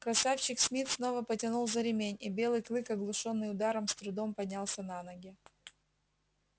красавчик смит снова потянул за ремень и белый клык оглушённый ударом с трудом поднялся на ноги